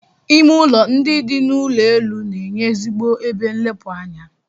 Ime ụlọ ndị dị n'ụlọ elu na-enye ezigbo ebe nlepụ anya.